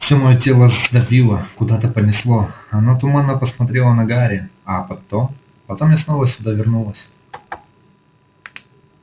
все моё тело сдавило куда-то понесло она туманно посмотрела на гарри а потом потом я снова сюда вернулась